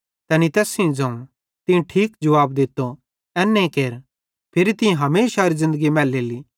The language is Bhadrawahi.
तैनी तैस सेइं ज़ोवं तीं ठीक जुवाब दित्तो एन्ने केर फिरी तीं हमेशारी ज़िन्दगी मैलेली